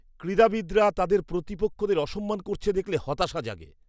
ক্রীড়াবিদরা তাদের প্রতিপক্ষদের অসম্মান করছে দেখলে হতাশা জাগে।